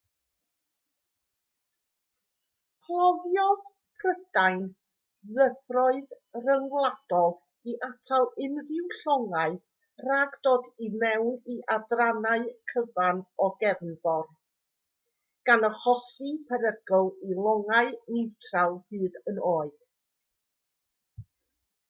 cloddiodd prydain ddyfroedd rhyngwladol i atal unrhyw longau rhag dod i mewn i adrannau cyfan o gefnfor gan achosi perygl i longau niwtral hyd yn oed